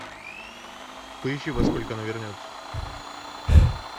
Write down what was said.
поищи во сколько она вернется